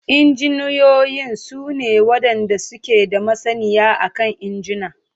Injiniyoyin su ne wadanda suke da masaniya akan injuna.